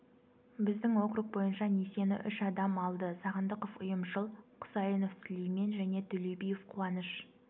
біздің округ бойынша несиені үш адам алды сағындықов ұйымшыл құсайынов сүлеймен және төлеубиев қуаныш